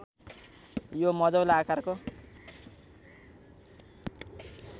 यो मझौला आकारको